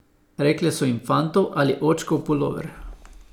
Rekle so jim fantov ali očkov pulover.